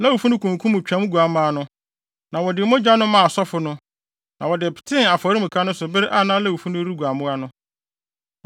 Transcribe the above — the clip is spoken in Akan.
Lewifo no kunkum Twam nguamma no, na wɔde mogya no maa asɔfo no, na wɔde petee afɔremuka no so bere a na Lewifo no regua mmoa no.